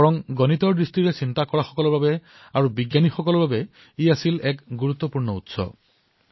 বৰঞ্চ গণিতৰ দৃষ্টিৰে চিন্তা কৰা আৰু বৈজ্ঞানিকসকলৰ বাবে এক গুৰুত্বপূৰ্ণ উৎসও আছিল